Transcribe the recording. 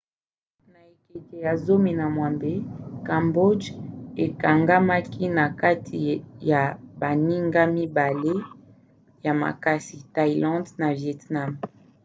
na ekeke ya 18 cambodge ekangamaki na kati ya baninga mibale ya makasi thaïlande na vietnam